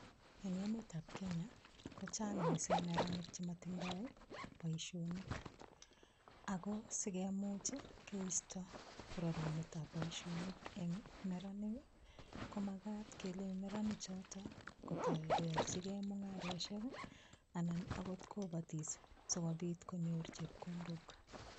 Eng emetab Kenya ko chang mising neranik che matindoi boisionik ago sigemuch keisto rarunetab boisionik eng neranik, komagat kelei neranichoto kotoi koyachigei mungarosiek ii anan agot kobatis si konyor chepkondok.